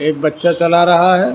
एक बच्चा चला रहा है।